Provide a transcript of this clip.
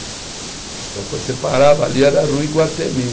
Então, quando você parava ali, era a Rua Iguatemi.